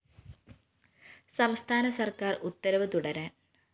സംസ്ഥാന സര്‍ക്കാര്‍ ഉത്തരവ് തുടരാന്‍